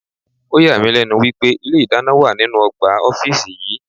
Ọ̀yà mí lẹ́nu wípé ilé ìdáná wà nínú ọgbà ọ́fíìsì yí.